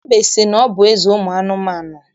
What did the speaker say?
Mbe si na ọ bụ eze ụmụ anụmanụ.